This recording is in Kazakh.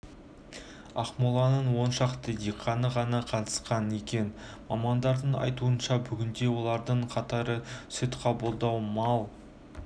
ақмоланың он шақты диқаны ғана қатысқан екен мамандардың айтуынша бүгінде олардың қатары сүт қабылдау мал